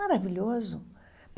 Maravilhoso.